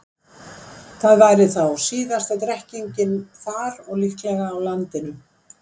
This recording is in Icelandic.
Það væri þá síðasta drekkingin þar og líklega á landinu.